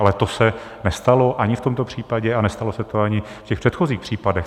Ale to se nestalo ani v tomto případě a nestalo se to ani v těch předchozích případech.